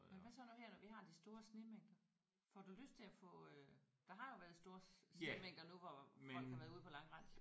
Men hvad så nu her når vi har de store snemængder? Får du lyst til at få øh der har jo været store snemængder nu hvor folk har været ude på langrend